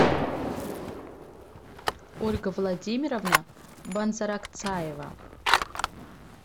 ольга владимировна банзаракцаева